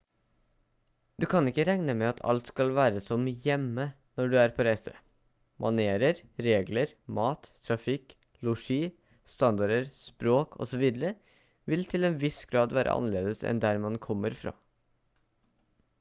du kan ikke regne med at alt skal være som «hjemme» når du er på reise. manerer regler mat trafikk losji standarder språk osv. vil til en viss grad være annerledes enn der man kommer fra